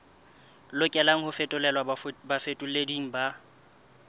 lokelang ho fetolelwa bafetoleding ba